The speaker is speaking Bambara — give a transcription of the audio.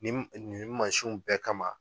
Nin mansinw bɛɛ kama